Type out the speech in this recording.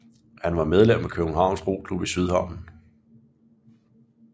Han var medlem af Københavns Roklub i Sydhavnen